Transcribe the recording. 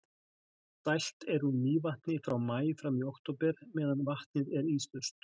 dælt er úr mývatni frá maí fram í október meðan vatnið er íslaust